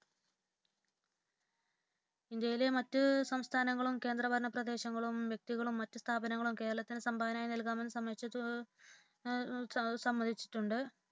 ഇന്ത്യയിലെ മറ്റു സംസ്ഥാനങ്ങളും കേന്ദ്രഭരണ പ്രദേശങ്ങളും വ്യക്തികളും മറ്റു സ്ഥാപനങ്ങളും കേരളത്തിനു സംഭാവനയായി നൽകാമെന്ന് സമ്മതിച്ചിട്ടുണ്ട്